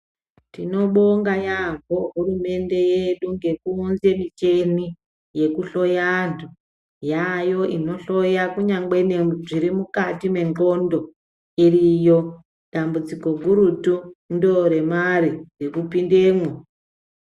Tinobonga yambo hurumende nge kuunze michina inohloya antu yaayo inohloya kunyangwe zviri mukati mwendxondo iriyo dambudziko gurutu ndore mare yekupindamwo.